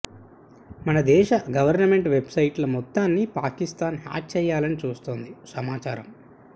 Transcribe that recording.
మన దేశ government website ల మొత్తాన్ని పాకిస్తాన్ హ్యక్ చేయాలని చూస్తోందని సమాచారం